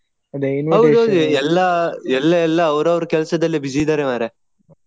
ಹೌದೌದು ಎಲ್ಲಾ ಎಲ್ಲಾ ಎಲ್ಲೆಲ್ಲಾ ಅವರ ಅವರ ಕೆಲ್ಸದಲ್ಲಿ busy ಇದ್ದಾರೆ ಮಾರ್ರೆ.